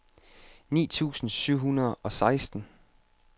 ni tusind syv hundrede og seksten